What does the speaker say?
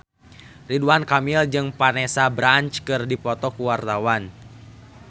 Ridwan Kamil jeung Vanessa Branch keur dipoto ku wartawan